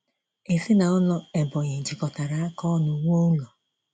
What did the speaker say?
Ezinaụlọ Ebonyi jikọtara aka ọnụ wuo ụlọ.